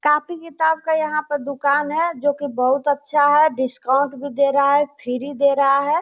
Copy किताब का यहाँ पर दुकान है जो कि बहुत अच्छा है डिस्काउंट भी दे रहा है फ्री दे रहा है।